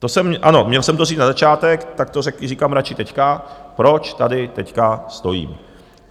Ano, měl jsem to říct na začátek, tak to říkám radši teď, proč tady teď stojím.